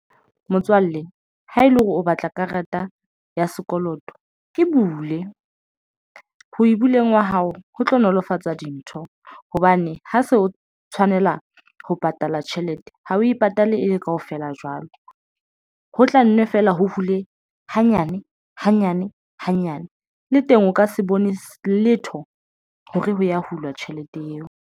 Motswalle ha ele hore o batla karata ya sekoloto e bule ho e bileng wa hao ho tlo nolofatsa dintho hobane ha se o tshwanela ho patala tjhelete jwang ha o e patale e be kaofela jwalo. Ho tla nnwe feela ho hule hanyane hanyane hanyane le teng o ka se bone letho hore ho ya hulwa tjhelete eo.